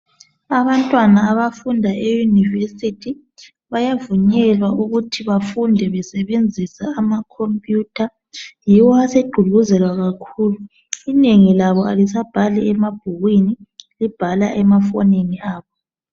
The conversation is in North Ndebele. Abantwana abafunda e university bayavunyelwa ukuthi bafunde besebenzisa ama computer yiwo asegqugquzelwa kakhulu. Inengi labo alisabhali emabhukwini libhala emafonini abo